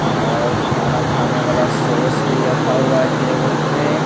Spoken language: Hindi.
और खाना खाने वाला सॉस भी रखा हुआ है टेबल पे।